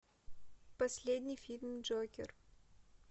последний фильм джокер